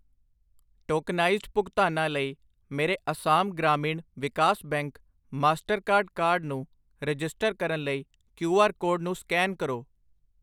Tokenized ਭੁਗਤਾਨਾਂ ਲਈ ਮੇਰੇ Assam Gramin Vikas bank Mastercard card ਨੂੰ ਰਜਿਸਟਰ ਕਰਨ ਲਈ ਕੀਉ ਆਰ ਕੋਡ ਨੂੰ ਸਕੈਨ ਕਰੋ।